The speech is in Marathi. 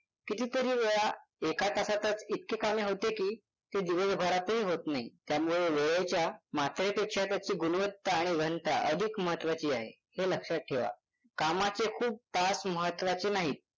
कितीतरी वेळा एका तासातच इतके कामे होते की ते दिवसभरातही होत नाही. त्यामुळे वेळेच्या मात्रेपेक्षा त्याची गुणवत्ता आणि घनता अधिक महत्वाची आहे हे लक्षात ठेवा. कामाचे खूप तास महत्वाचे नाहीत.